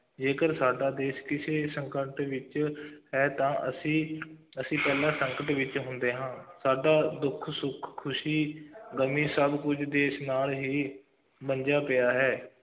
ਜੇਕਰ ਸਾਡਾ ਦੇਸ਼ ਕਿਸੇ ਸੰਕਟ ਵਿੱਚ ਹੈ, ਤਾਂ ਅਸੀਂ ਅਸੀਂ ਪਹਿਲਾਂ ਸੰਕਟ ਵਿੱਚ ਹੁੰਦੇ ਹਾਂ, ਸਾਡਾ ਦੁੱਖ, ਸੁੱਖ, ਖੁਸ਼ੀ ਗਮੀ ਸਭ ਕੁੱਝ ਦੇਸ਼ ਨਾਲ ਹੀ ਬੰਨ੍ਹਿਆ ਪਿਆ ਹੈ,